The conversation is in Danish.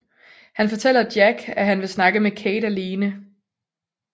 Han fortæller Jack at han vil snakke med Kate alene